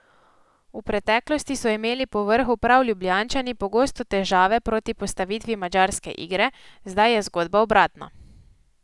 V preteklosti so imeli povrhu prav Ljubljančani pogosto težave proti postavitvi madžarske igre, zdaj je zgodba obratna.